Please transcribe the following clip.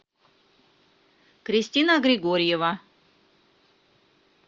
кристина григорьева